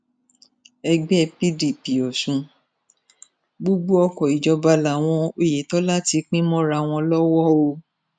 ẹgbẹ́ pdp ọ̀sun gbogbo ọkọ̀ ìjọba làwọn oyètọ́lá ti pín mọ́ra wọn lọ́wọ́ o